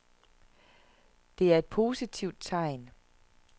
Det er et positivt tegn.